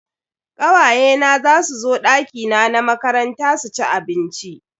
Kawaye na zasu zo dakina na makaranta su ci abinci.